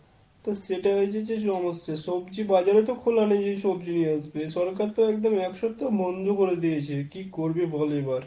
তো সেটাই হয়েছে যে সমস্য। সব্জি বাজারই তো খোলা নেই যে সব্জি নিয়ে আসবে। সরকার তো একদম এক সপ্তাহ বন্ধ করে দিয়েছে। কি করবি বল এবার !